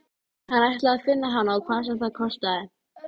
Stelpa- og ég sem bjóst við strák.